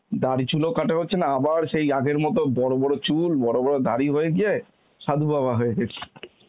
দাড়ি চুলও কাটা হচ্ছে না, আবার সেই আগের মত বড় বড় চুল বড় বড় দাড়ি হয়ে গিয়ে সাধু বাবা হয়ে গেছি